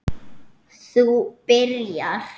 Þú byrjar.